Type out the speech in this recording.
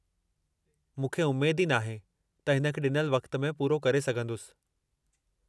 मूंखे उमेद ई नाहे त हिन खे ॾिनल वक़्त में पूरो करे सघंदुसि।